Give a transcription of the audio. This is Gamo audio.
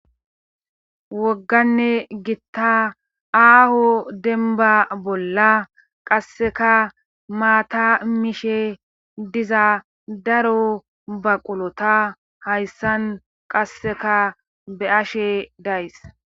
wogganne gitta aaho denba bolla qasseka maata mishe diza daro baqulota hayssan qasseka be ashe days